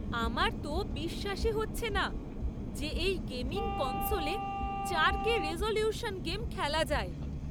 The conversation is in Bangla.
আমার তো বিশ্বাসই হচ্ছে না যে এই গেমিং কনসোলে চারকে রেজোলিউশন গেম খেলা যায়!